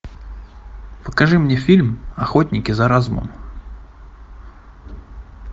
покажи мне фильм охотники за разумом